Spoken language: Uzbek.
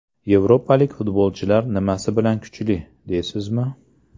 Yevropalik futbolchilar nimasi bilan kuchli, deysizmi?